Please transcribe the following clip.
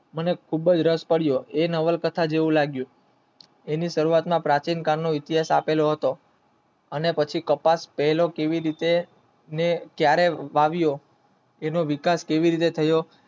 મને ખુબજ રસ પડ્યો એ નવલ કથા જેવું લાગ્યું એને કલાક ના પ્રાચીન કાળ ઇતિહાસ આપેલો હતો અને પછી કપાસ પહેલા કેવી રીતે ને ક્યારે આવ્યો એનો વિકાસ કેવી રીતે થાઓ